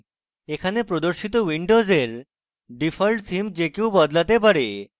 এখানে প্রদর্শিত windows default theme যে কেউ বদলাতে পারে